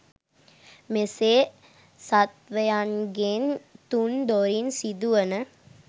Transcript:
මෙසේ සත්ත්වයන්ගෙන් තුන් දොරින් සිදුවන